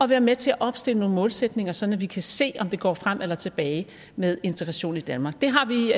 være med til at opstille nogle målsætninger sådan at vi kan se om det går frem eller tilbage med integrationen i danmark det har vi